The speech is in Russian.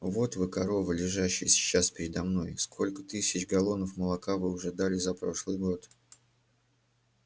вот вы коровы лежащие сейчас передо мной сколько тысяч галлонов молока вы уже дали за прошлый год